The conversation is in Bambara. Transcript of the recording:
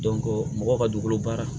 mɔgɔw ka dugukolo baara